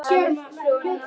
Það styttir mjög leiðir.